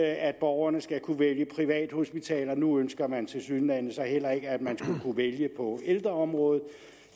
at borgerne skal kunne vælge privathospitalerne og nu ønsker man tilsyneladende så heller ikke at man skal kunne vælge på ældreområdet